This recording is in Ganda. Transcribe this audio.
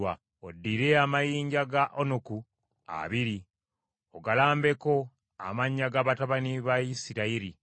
“Oddire amayinja ga onuku abiri, ogalambeko amannya ga batabani ba Isirayiri,